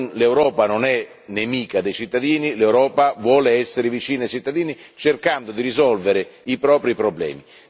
L'Europa non è nemica dei cittadini, l'Europa vuole essere vicina ai cittadini cercando di risolvere i propri problemi.